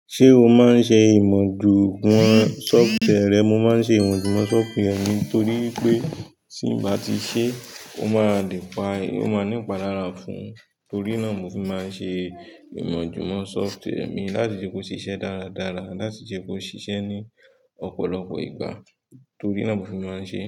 Ṣé o máa ń ṣe imọ-ju-mọ software? Mo máa ń ṣe imọ-ju-mọ software mi torí pé tí ń bá ti ṣe, ó máa ní ìpalára fún. Torí náà mo fi máa ń ṣe imọ-ju-mọ software mi láti ṣe kó ṣiṣẹ́ dáradára, láti ṣe kó ṣiṣẹ́ ní ọ̀pọ̀lọpọ̀ ìgbà. Torí náà mo fi máa ń ṣe.